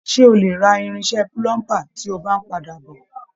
Ṣe o lè rà irinṣẹ́ púlúmbu tí o bá n padà bọ?